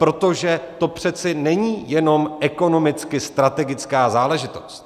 Protože to přece není jenom ekonomicky strategická záležitost.